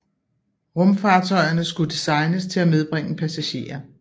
Rumfartøjerne skulle designes til at medbringe passagerer